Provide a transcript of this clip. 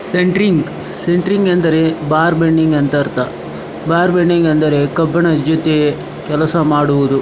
Centring centring ಅಂದರೆ bar bending ಅಂತ ಅರ್ಥ. ಬಾರ್ಬೆಂಡಿಂಗ್ ಅಂದರೆ ಕಬ್ಬಿಣ ಜೊತೆ ಕೆಲಸ ಮಾಡುವುದು.